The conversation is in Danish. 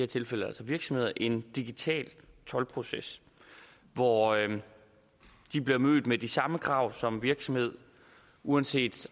tilfælde altså virksomheder en digital toldproces hvor de bliver mødt med de samme krav som virksomhed uanset